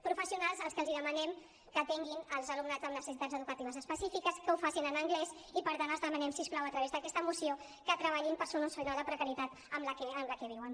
professionals als quals demanem que atenguin l’alumnat amb necessitats educatives específiques que ho facin en anglès i per tant els demanem si us plau a través d’aquesta moció que treballin per solucionar la precarietat amb què viuen